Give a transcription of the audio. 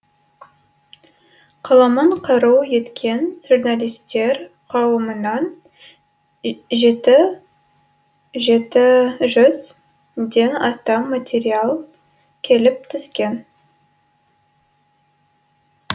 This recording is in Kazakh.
қаламын қару еткен журналистер қауымынан жеті жеті жүзден астам материал келіп түскен